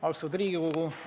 Austatud Riigikogu!